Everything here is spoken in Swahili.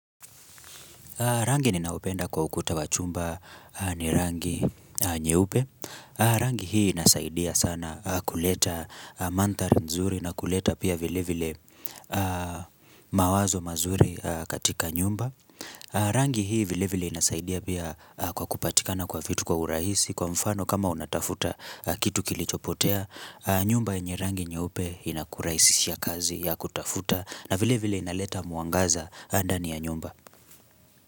Rangi ni naopenda kwa ukuta wa chumba ni rangi nyeupe. Rangi hii inasaidia sana kuleta mandhari nzuri na kuleta pia vile vile mawazo mazuri katika nyumba. Rangi hii vile vile inasaidia pia kwa kupatika na kwa fitu kwa urahisi kwa mfano kama unatafuta kitu kilichopotea. Nyumba yenye rangi nyeupe inakurahisishia kazi ya kutafuta na vile vile inaleta mwangaza ndani ya nyumba.